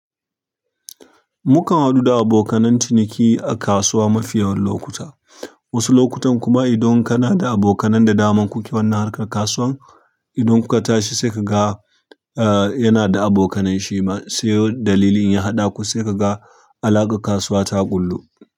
Mukan haɗu da abokanan ciniki a kasuwa mafiyawan lokuta, wasu lokutan kuma idan kana da abokanan da daman ku ke wannan harkar kasuwan idan kuka tashi sai kaga eh yana da abokanai shima, sai dalilin ya haɗa ku sai kaga alaƙar kasuwa ta ƙullu.